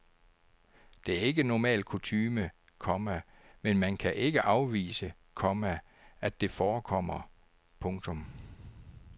Det er ikke normal kutyme, komma men man kan ikke afvise, komma at det forekommer. punktum